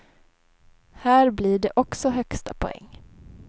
Här blir det också högsta poäng.